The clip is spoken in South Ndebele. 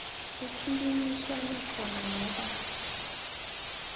kukhulunyiswana khona noba